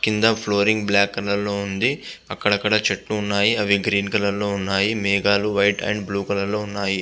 కింద flooring black colour లో ఉంది. అక్కడక్కడ చెట్లున్నాయి. అవి గ్రీన్ కలర్ లో ఉన్నాయి. మేఘాలు వైట్ అండ్ బ్లూ కలర్ లో ఉన్నాయి.